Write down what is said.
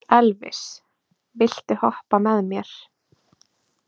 Elvis, viltu hoppa með mér?